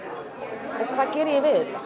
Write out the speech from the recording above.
og hvað geri ég við